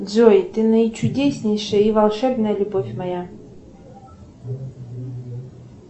джой ты наичудеснейшая и волшебная любовь моя